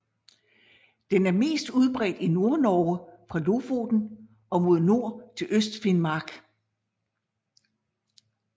Den er mest udbredt i Nordnorge fra Lofoten og mod nord til Østfinnmark